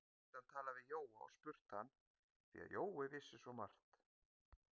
Nú gæti hann talað við Jóa og spurt hann, því að Jói vissi svo margt.